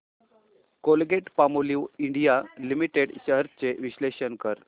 Colgate Palmolive India limited shares चे विश्लेषण कर